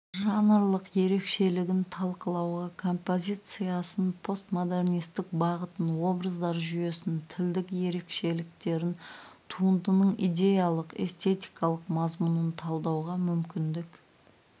жанрлық ерекшелігін талқылауға композициясын постмодернистік бағытын образдар жүйесін тілдік ерекшеліктерін туындының иедялық-эстетикалық мазмұнын талдауға мүмкіндік